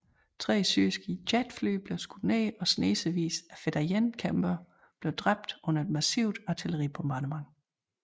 Tre syriske jetfly blev skudt ned og snesevis af fedayeen kæmpere blev dræbt under et massivt artilleribombardement